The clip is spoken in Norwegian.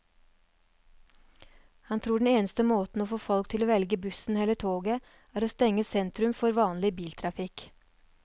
Han tror den eneste måten å få folk til å velge bussen eller toget, er å stenge sentrum for all vanlig biltrafikk.